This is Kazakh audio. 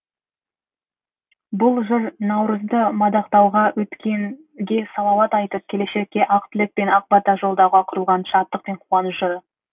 бұл жыр наурызды мадақтауға өткенге салауат айтып келешекке ақ тілек пен ақ бата жолдауға құрылған шаттық пен қуаныш жыры